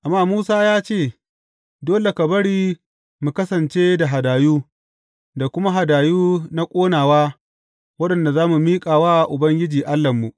Amma Musa ya ce, Dole ka bari mu kasance da hadayu, da kuma hadayu na ƙonawa waɗanda za mu miƙa wa Ubangiji Allahnmu.